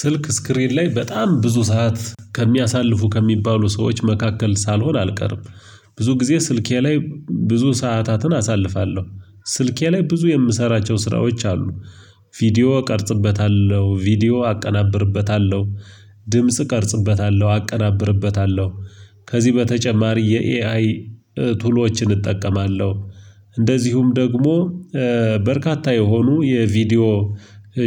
ስልክ ስክሪን ላይ በጣም ብዙ ሰዓት ከሚያሳልፉ ከሚባሉ ሰዎች መካከል ሳልሆን አልቀርም። ብዙ ጊዜ ስልኬ ላይ ብዙ ሰዓታትን አሳልፋለሁ ስልኬ ላይ ብዙ የምሰራቸው ስራዎች አሉ። ቪዲዮ እቀርጽበታለሁ ቪዲዮ አቀናብርበታለሁ። ድምጽ እቀርጽበታለሁ አቀናብርበታለሁ። ከዚህ በተጨማሪ የኤአይ ቱሎችን እጠቀማለሁ። እንደዚሁም ደግሞ በርካታ የሆኑ የቪዲዮ